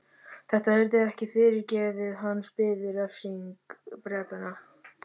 Þetta yrði ekki fyrirgefið, hans biði refsing Bretanna.